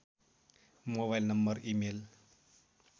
mobile number email